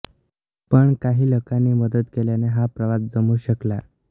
पण काही लोकांनी मदत केल्याने हा प्रवास जमू शकला